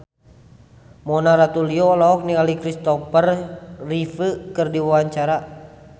Mona Ratuliu olohok ningali Christopher Reeve keur diwawancara